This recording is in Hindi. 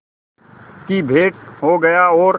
की भेंट हो गया और